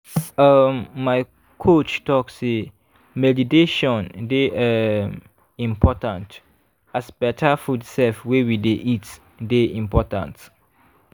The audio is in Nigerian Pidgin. um my coach talk say meditation dey um important as better food sef wey we dey eat dey important.